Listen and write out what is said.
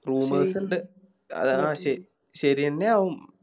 ആ ശേ ശെരിയെന്നെ ആവും